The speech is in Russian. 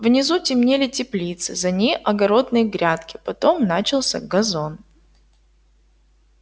внизу темнели теплицы за ней огородные грядки потом начался газон